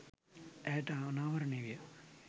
ඇයට අනාවරණය විය.